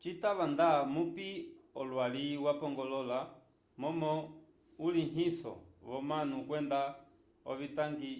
citava da mupi olwali wapongolola momo ulihinso vomanu kwenda ovitangwi